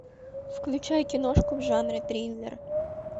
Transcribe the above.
включай киношку в жанре триллер